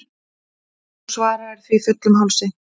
Þú svaraðir því fullum hálsi.